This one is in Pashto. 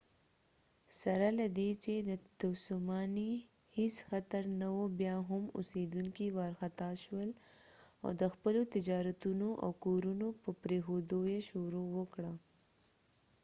سره له دې چې د تسونامي هیڅ خطر نه و بیا هم اوسیدونکي وارخطا شول او د خپلو تجارتونو او کورونو په پریښودو یې شروع وکړه